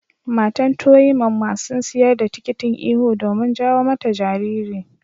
Matan to yi ma masun siyar da tikitin ihu domin jawo mata jariri.